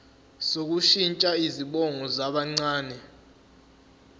sokushintsha izibongo zabancane